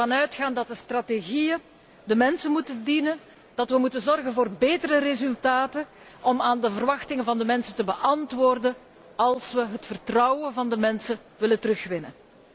Wij gaan ervan uit dat de strategieën de mensen moeten dienen, dat we moeten zorgen voor betere resultaten om aan de verwachtingen van de mensen te beantwoorden, als wij het vertrouwen van de mensen willen terugwinnen.